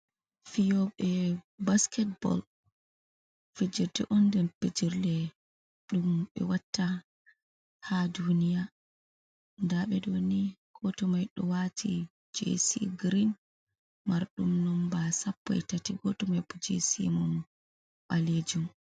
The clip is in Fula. fiyooɓe basketball, fijerde on nder pijirle ɗum ɓe watta haa duiniya, ndaa ɓe ɗo gooto mai ɗo waati jeesi girin marɗum nomba 131 jeesii mum ɓaleejum.